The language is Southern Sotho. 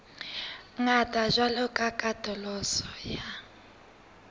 ngata jwalo ka katoloso ya